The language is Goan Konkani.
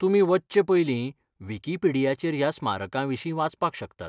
तुमी वचचे पयलीं विकिपेडियाचेर ह्या स्मारकांविशीं वाचपाक शकतात.